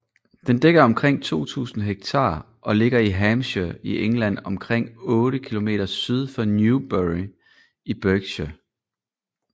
Den dækker omkring 2000 hektar og ligger i Hampshire i England omkring 8 km syd for Newbury i Berkshire